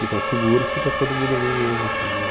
Ficando seguro, porque está todo mundo ali mesmo assim né